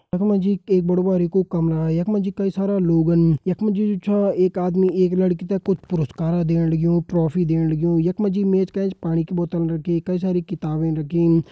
यख मा जी एक बड़ु बारिकु कमरा यख मा जी कई सारा लोगन यख मा जी जु छ एक आदमी एक लड़की तें कुछ पुरुष्कार देणं लग्युं ट्रॉफी देणं लग्युं यख मा जी मेज का एंच पाणी की बोतल रखी कई सारी किताबें रखीं।